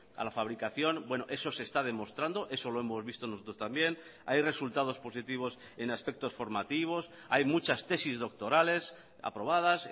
a la fabricación bueno eso se está demostrando eso lo hemos visto nosotros también hay resultados positivos en aspectos formativos hay muchas tesis doctorales aprobadas